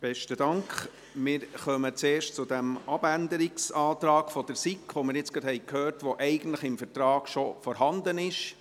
Wir kommen zuerst zum Abänderungsantrag der SiK, von dem wir jetzt gerade gehört haben, dass er eigentlich im Vertrag schon vorhanden ist.